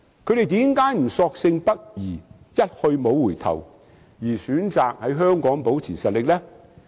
他們為何不索性北移，一去不回，而選擇在香港保持實力呢？